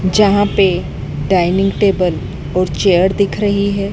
जहां पे dining table और चेयर दिख रही हैं।